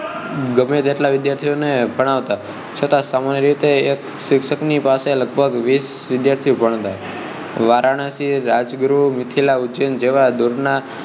ગમે તેટલા વિદ્યાર્થીઓ ને ભણાવતા છતાં સામાન્ય રીતે એક શિક્ષક ની પાસે લગભગ વીસ વિદ્યાર્થીઓ ભણતાં વારાણસી રાજગૃહ મિથિલા ઉજ્જૈન જેવા દૂરના